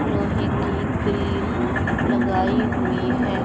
लोहे की ग्रिल लगाई हुईं हैं।